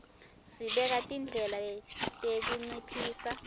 sibeka tindlela tekunciphisa